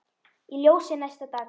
Í ljósi næsta dags